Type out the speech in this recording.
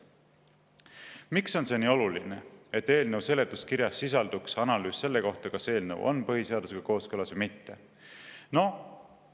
Miks on see nii oluline, et eelnõu seletuskirjas sisalduks analüüs selle kohta, kas eelnõu on põhiseadusega kooskõlas või mitte?